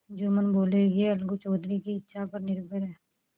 जुम्मन बोलेयह अलगू चौधरी की इच्छा पर निर्भर है